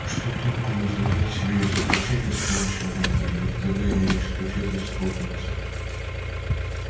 что толку вызволять себя из заточения с помощью магии ведь тогда его исключат из хогвартса